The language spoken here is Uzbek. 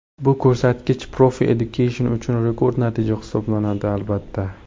Bu ko‘rsatkich Profi Education uchun rekord natija hisoblanadi, albatta.